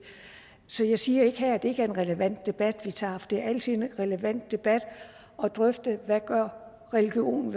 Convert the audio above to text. så jeg siger ikke her at det ikke er en relevant debat vi tager for det er altid en relevant debat at drøfte hvad religion